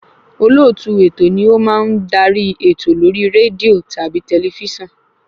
Olóòtú ètò ni o má ń darí ètò lórí rédíò tàbí tẹlifísàn